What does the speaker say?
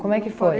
Como é que foi?